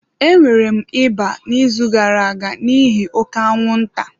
Enwere m ịba n'izu gara-aga n'ihi oke anwụnta.